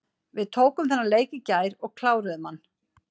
Við tókum þennan leik í gær og kláruðum hann.